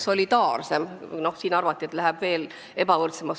Siin avaldati arvamust, et süsteem läheb ebavõrdsemaks.